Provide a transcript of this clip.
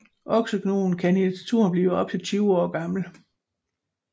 Oksegnuen kan i naturen blive op til 20 år gamle